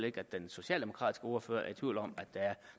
ikke at den socialdemokratiske ordfører er i tvivl om at